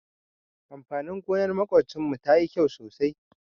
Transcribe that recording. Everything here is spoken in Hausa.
Amfanin gonar maƙocinmu tayi kyau sosai.